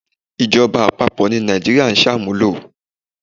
Ìjọba àpapọ̀ ni Nàìjíríà ń sàmúlò.